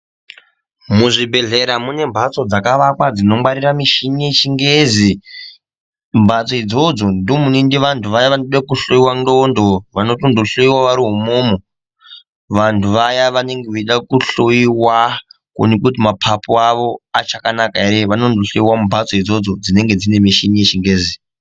Muzvibhedhleya mune mbatso dzakavakwa dzinongwarira michini yechingezi mbatso idzodzo ndomunoende vantu vaya vanoda kuhloyiwa ndxondo vanotondohloyiwa vari imwomwo vantu vaya vanenge veide kuhloyiwa kuonekwe kuti mapapu avo achakanaka ere vanondohloyiwa mumbatso idzodzo dzinenge dzine michini yechingezi.